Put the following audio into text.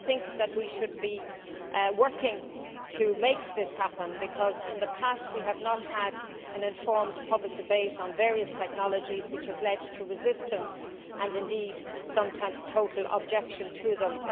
I think that we should be working to make this happen, because in the past we have not had an informed public debate on various technologies, which has led to resistance and indeed sometimes total objection to them.